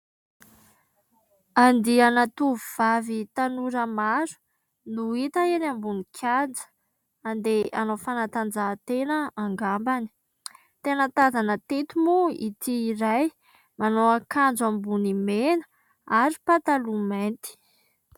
Andiana tovovavy tanora maro no hita eny ambony kianja, andeha hanao fanatanjahantena angamba. Tena tazana teto moa ity iray, manao akanjo ambony mena ary pataloha mainty.